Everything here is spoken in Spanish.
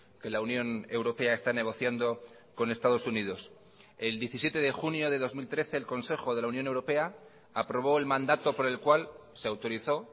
que la unión europea está negociando con estados unidos el diecisiete de junio de dos mil trece el consejo de la unión europea aprobó el mandato por el cual se autorizó